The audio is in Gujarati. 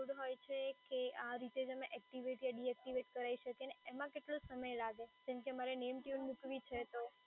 હોય છે કે આ રીતે જ અમે એક્ટિવેટ કે ડીએક્ટિવેટ કરાવી શકીએ અને એમાં કેટલો સમય લાગે જેમ કે મારે name tune મૂકવી છે